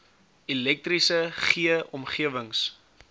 elektriese g omgewings